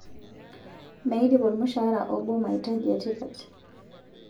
Meidip ormushaara obo maitaji e tipat